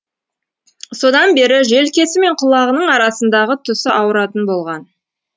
содан бері желкесі мен құлағының арасындағы тұсы ауыратын болған